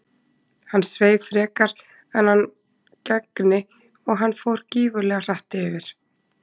Hann sveif frekar en hann gegni og hann fór gífurlega hratt yfir.